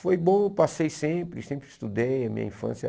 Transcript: Foi bom, eu passei sempre, sempre estudei, a minha infância.